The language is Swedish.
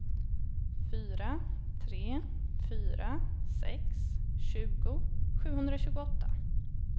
fyra tre fyra sex tjugo sjuhundratjugoåtta